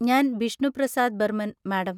ഞാൻ ബിഷ്ണു പ്രസാദ് ബർമൻ, മാഡം.